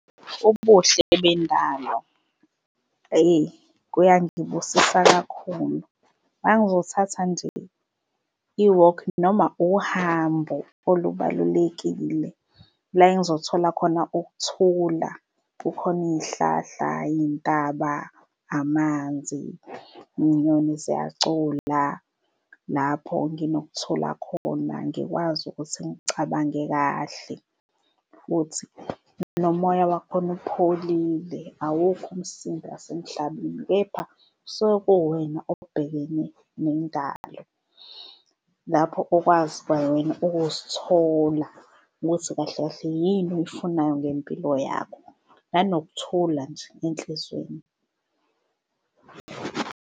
Ubuhle bendalo. Eyi, kuyangibusisa kakhulu uma ngizothatha nje i-walk noma uhambo olubalulekile la engizothola khona ukuthula kukhona iy'hlahla, iy'ntaba, amanzi iy'nyoni ziyacasula lapho nginokuthola khona, ngikwazi ukuthi ngicabange kahle futhi nomoya wakhona upholile, awukho umsindo wasemhlabeni. Kepha suke kuwena obhekene nendalo, lapho okwazi kwawena ukuzithola ukuthi kahle kahle yini oyifunayo ngempilo yakho nanokuthula nje enhlizweni.